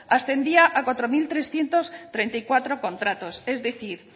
ascendía a cuatro mil trescientos treinta y cuatro contratos es decir